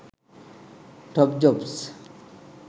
top jobs